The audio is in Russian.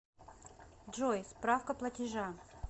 джой справка платежа